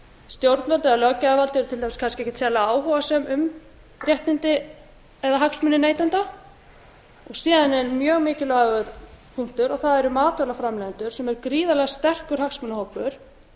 stjórnvöld eða löggjafarvaldið eru til að mynda kannski ekkert sérlega áhugasöm um réttindi eða hagsmuni neytenda og síðan er mjög mikilvægur punktur og það eru matvælaframleiðendur sem er gríðarlega sterkur hagsmunahópur